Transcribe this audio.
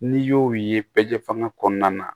N'i y'o ye pɛze fanga kɔnɔna na